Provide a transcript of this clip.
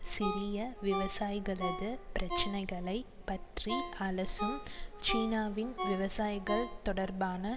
சிறிய விவசாயிகளது பிரச்சினைகளை பற்றி அலசும் சீனாவின் விவசாயிகள் தொடர்பான